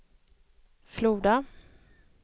Floda